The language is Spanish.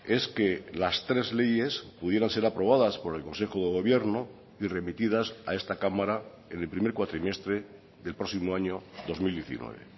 es que las tres leyes pudieran ser aprobadas por el consejo de gobierno y remitidas a esta cámara en el primer cuatrimestre del próximo año dos mil diecinueve